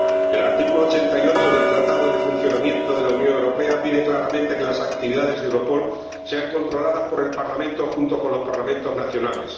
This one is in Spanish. El artículo 88 del Tratado de Funcionamiento de la Unión Europea pide claramente que las actividades de Europol sean controladas por el Parlamento, junto con los Parlamentos nacionales.